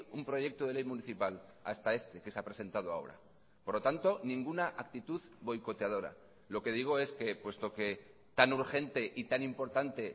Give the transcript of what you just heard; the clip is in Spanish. un proyecto de ley municipal hasta este que se ha presentado ahora por lo tanto ninguna actitud boicoteadora lo que digo es que puesto que tan urgente y tan importante